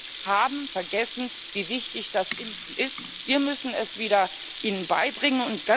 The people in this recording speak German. Die Menschen haben vergessen, wie wichtig das Impfen ist. Wir müssen es ihnen wieder beibringen.